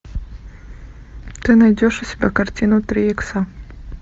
ты найдешь у себя картину три икса